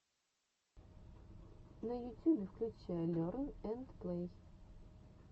на ютюбе включай лерн энд плэй